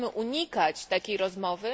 Nie możemy unikać takiej rozmowy.